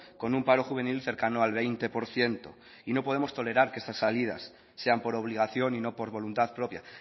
con un paro juvenil cercano al veinte por ciento y no podemos tolerar que estas salidas sean por obligación y no por voluntad propia